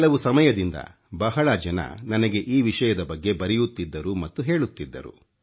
ಕೆಲವು ಸಮಯದಿಂದ ಬಹಳ ಜನ ನನಗೆ ಈ ವಿಷಯದ ಬಗ್ಗೆ ಬರೆಯುತ್ತಿದ್ದರು ಮತ್ತು ಹೇಳುತ್ತಿದ್ದರು